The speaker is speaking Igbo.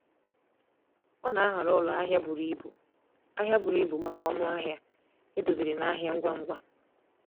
Ọ na-ahọrọ ụlọ ahịa buru ibu ahịa buru ibu maka ọnụ ahịa edoziri na ahịa ngwa ngwa.